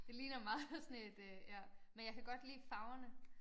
Det ligner meget sådan et øh ja men jeg kan godt lide farverne